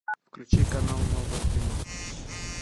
включи канал новое кино